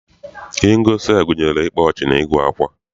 Ihe ngosi a gụnyere ịkpa ọchị na ịgụ akwa.